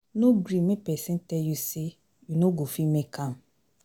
No gree make pesin tell you say you no go fit make am